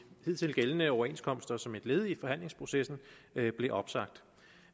hidtil gældende overenskomster som et led i forhandlingsprocessen blev opsagt